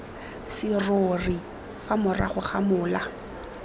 serori fa morago ga mola